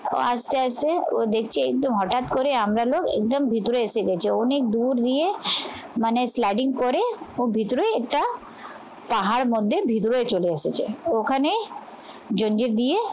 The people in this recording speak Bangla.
আস্তে আস্তে ও দেখছে একটু হঠাৎ করে আমরা লোক ভিতরে এসে গেছি। অনেক দূর দিয়ে মানে করে ওর ভেতরে একটা পাহাড় মধ্যে ভিতরে চলে এসেছে। ওখানে যঞ্জে দিয়ে